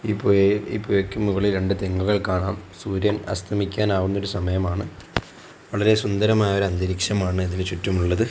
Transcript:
ഈ പുഴയും പുഴക്ക് മുകളിൽ രണ്ട് തെങ്ങുകൾ കാണാം സൂര്യൻ അസ്തമിക്കാൻ ആവുന്ന ഒരു സമയമാണ് വളരെ സുന്ദരമായ ഒരു അന്തരീക്ഷമാണ് ഇതിന് ചുറ്റുമുള്ളത്.